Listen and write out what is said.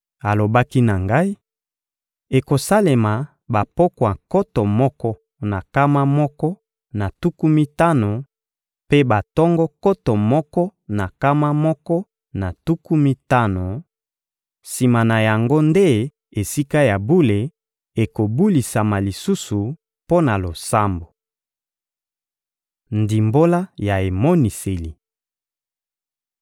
Alobaki na ngai: — Ekosalema bapokwa nkoto moko na nkama moko na tuku mitano mpe batongo nkoto moko na nkama moko na tuku mitano; sima na yango nde Esika ya bule ekobulisama lisusu mpo na losambo. Ndimbola ya emoniseli